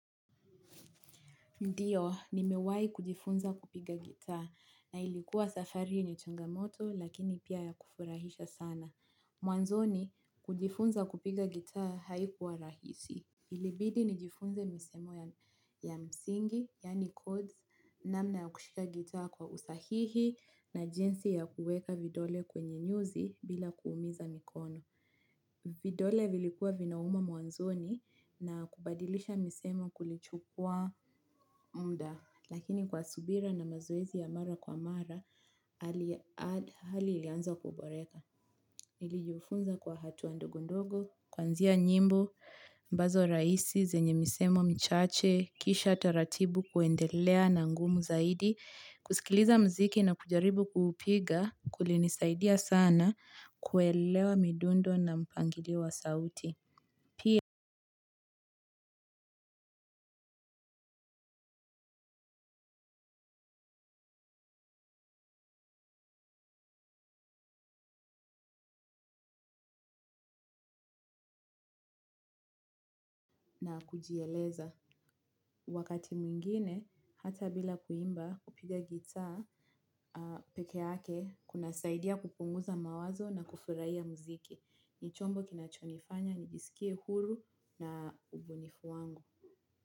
Ndiyo, nimewai kujifunza kupiga gita na ilikuwa safari yenya changamoto lakini pia ya kufurahisha sana. Mwanzoni, kujifunza kupiga guitar haikuwa rahisi. Ilibidi nijifunze misemo ya msingi, yaani codes, namna ya kushika gita kwa usahihi na jinsi ya kuweka vidole kwenye nyuzi bila kuumiza mikono. Vidole vilikuwa vinauma mwanzoni na kubadilisha misemo kulichukua muda. Lakini kwa subira na mazoezi ya mara kwa mara, hali ilianza kuboreka. NIlijufunza kwa hatua ndogo ndogo, kwanzia nyimbo, ambazo rahisi, zenye misemo mchache, kisha taratibu kuendelea na ngumu zaidi, kusikiliza muziki na kujaribu kuupiga, kulinisaidia sana, kuelewa midundo na mpangidiwa sauti. Pia kujieleza wakati mwingine hata bila kuimba kupiga gitaa peke hake kunasaidia kupunguza mawazo na kufurahia ya muziki ni chombo kinachonifanya nijisikie huru na ubunifu wangu.